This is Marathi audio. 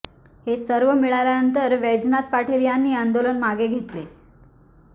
हे सर्व मिळाल्यानंतर वैजनाथ पाटील यांनी आंदोलन मागे घेतले